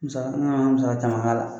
Musaga, an musaga caman b'a la.